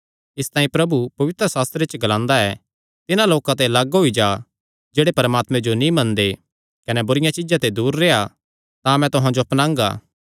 इसतांई प्रभु पवित्रशास्त्रे च ग्लांदा ऐ तिन्हां लोकां ते लग्ग होई जा जेह्ड़े परमात्मे जो नीं मनदे कने बुरिआं चीज्जां ते दूर रेह्आ तां मैं तुहां जो अपनांगा